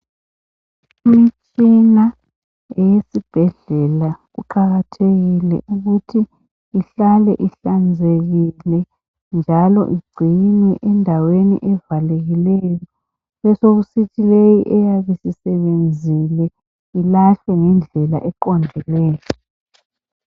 Imitshina eyesibhedlela kuqakathekile ukuthi ihlale ihlanzeke njalo ingcinwe endaweni evalekileyo besekusithi le eyabe isisebenzile ilahlwe ngendlela eqondileyo.